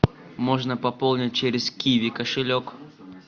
можно пополнить через киви кошелек